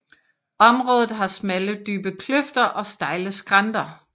Området har smalle dybe kløfter og stejle skrænter